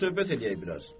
Gəl otur söhbət eləyək biraz.